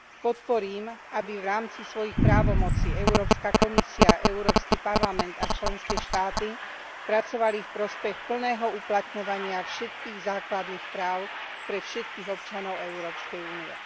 Podporím, aby v rámci svojich právomocí Európska komisia, Európsky parlament a členské štáty pracovali v prospech plného uplatňovania všetkých základných práv pre všetkých občanov Európskej únie.